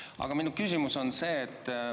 Aga minu küsimus on see.